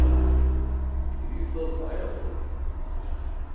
Tristo zmajevcev?